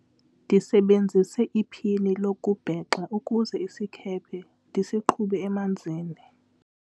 ndisebenzise iphini lokubhexa ukuze isikhephe ndisiqhube emanzini